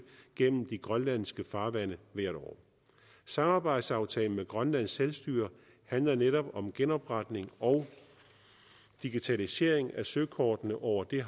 gennem de grønlandske farvande hvert år samarbejdsaftalen med grønlands selvstyre handler netop om genopretning og digitalisering af søkortene over det